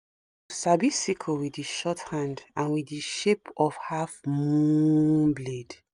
u sabi sickle with the short hand and with the shape of half mooon blade